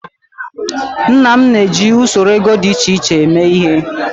Nna m na-eji usoro ego dị iche iche eme ihe.